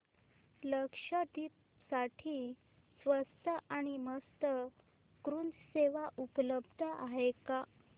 लक्षद्वीप साठी स्वस्त आणि मस्त क्रुझ सेवा उपलब्ध आहे का